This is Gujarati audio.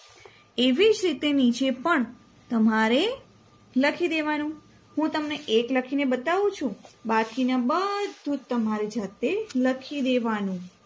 એવીજ રીતે નીચે પણ તમારે લખીદેવાનું હું તમને એક લખીને બતાવું છું બાકીનું બધુંજ તમારે જાતે લખીદેવાનું